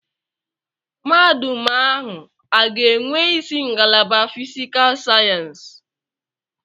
Mahadum ahụ a ga-enwe isi ngalaba fiscal sayensị?